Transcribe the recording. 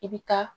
I bɛ taa